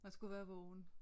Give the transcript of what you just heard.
Man skulle være vågen